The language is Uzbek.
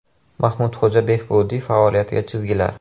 Mahmudxo‘ja Behbudiy faoliyatiga chizgilar.